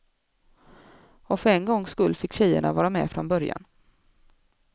Och för en gångs skull fick tjejerna vara med från början.